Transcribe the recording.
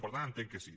per tant entenc que sí